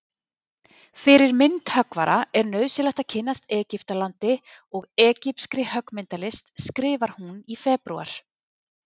Fyrir myndhöggvara er nauðsynlegt að kynnast Egyptalandi og egypskri höggmyndalist skrifar hún í febrúar.